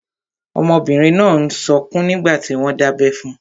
Ọmọbìnrin náà n sọkún nígbàtí wọ́n n dábẹ́ fun.